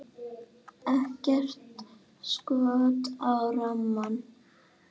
Ekkert skot á rammann?